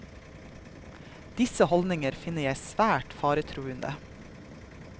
Disse holdninger finner jeg svært faretruende.